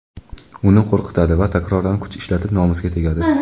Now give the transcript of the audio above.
uni qo‘rqitadi va takroran kuch ishlatib nomusiga tegadi.